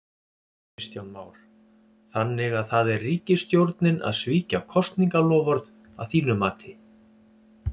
Kristján Már: Þannig að það er ríkisstjórnin að svíkja kosningaloforð að þínu mati?